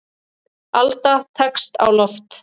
Alda tekst á loft.